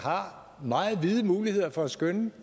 har meget vide muligheder for at skønne